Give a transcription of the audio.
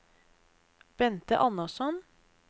Bente Andersson